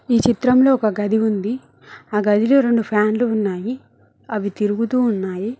ఈ చిత్రంలో ఒక గది ఉంది ఆ గదిలో రెండు ఫ్యాన్లు ఉన్నాయి అవి తిరుగుతూ ఉన్నాయి.